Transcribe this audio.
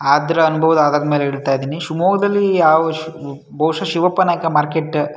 ಆದ್ರೂ ಅನುಭವದ ಆದರದ ಮೇಲೆ ಇಡ್ತಾ ಇದ್ದೀನಿ ಶಿವಮೊಗ್ಗದಲ್ಲಿ ಯಾವ ಶ್ ಬ್ ಬೌಶ ಶಿವಪ್ಪ ನಾಯ್ಕ ಮಾರ್ಕೆಟ್ಟ --